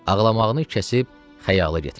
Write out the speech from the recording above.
Ağlamağını kəsib xəyala getmişdi.